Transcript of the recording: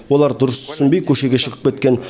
олар дұрыс түсінбей көшеге шығып кеткен